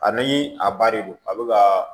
Ani a ba de don a bɛ ka